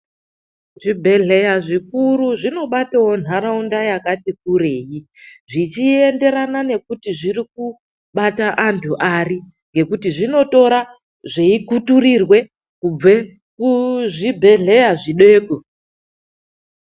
Zvibhedhleya zvikuru zvinobatawo nharaunda yakati kurei zvichienderana nekuti zvirikubata antu ari. Ngekuti zvinotora zvei zveikuturirwe kubve kuzvibhedhleya zvideko.